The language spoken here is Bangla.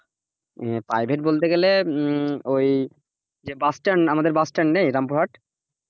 হ্যাঁ private বলতে গেলে ওই যে bus stand, আমদের bus stand নেই রামপুরহাট,